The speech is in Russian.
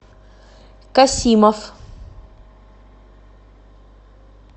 касимов